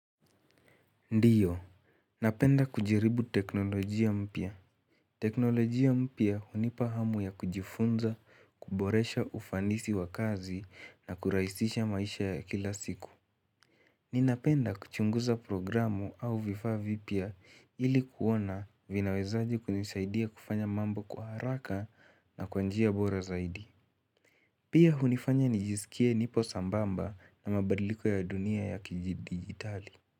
Ndiyo, napenda kujaribu teknolojia mpya. Teknolojia mpya hunipa hamu ya kujifunza, kuboresha ufandisi wa kazi na kuraisisha maisha ya kila siku. Ninapenda kuchunguza programu au vifa vipya ili kuona vinaweza aje kunisaidia kufanya mambo kwa haraka na kwa njia bora zaidi. Pia hunifanya nijisikie nipo sambamba na mabadliko ya dunia ya kijidijitali.